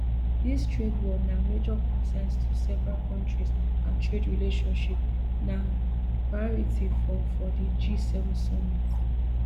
dis trade war na major concerns to several countries and trade relationship na priority for for di gseven summit